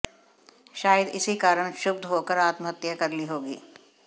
शायद इसी कारण क्षुब्ध होकर आत्महत्या कर ली होगी